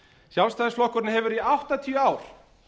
sjálfstæðisflokkurinn hefur í áttatíu ár